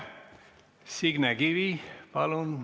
Aitäh!